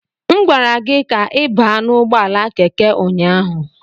M gwara gị ka ị baa n'ụgbọala Keke ụnyaahụ.